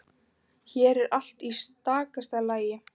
Hér er allt í stakasta lagi.